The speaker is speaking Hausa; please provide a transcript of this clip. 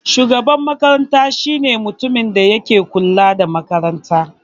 Shugaban makaranta shine mutumin da yake kula da makaranta.